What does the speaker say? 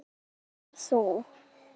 Ætlar þú.